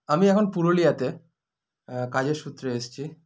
আমি এখন পুরুলিয়াতে এ কাজের সূত্রে এসছি